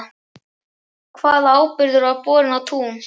Hvaða áburður var borinn á tún?